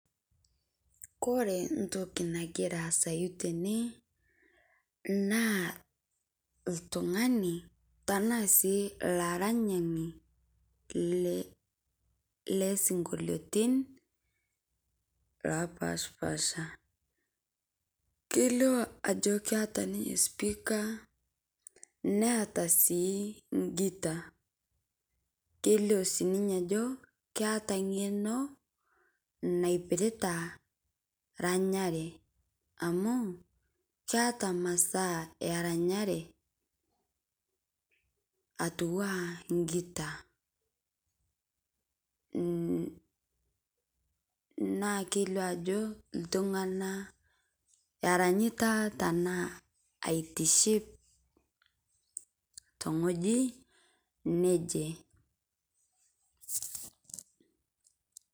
Ore entoki nagira asaa tene naa oltung'ani Tena sii olaranyani loosinkoliotin loo pashipapasha kelio Ajo ketaa ninye sipika netaa sii giita kelio sii ninye Ajo keeta eng'eno naipirta eranyare amu keeta masaa eranyare etua enaa giita naa kelio Ajo iltung'ana eranyitaa tenaa aitiship tee wueji neje